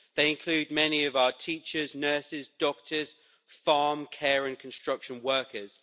They include many of our teachers, nurses, doctors and farm, care and construction workers.